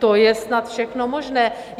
To je snad všechno možné.